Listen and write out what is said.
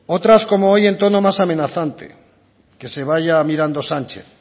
otras como hoy en tono más amenazante que se vaya mirando sánchez